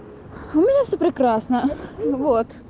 у меня все прекрасно вот